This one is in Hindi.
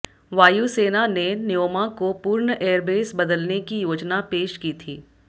वायु सेना ने न्योमा को पूर्ण एयरबेस बदलने की योजना पेश की थी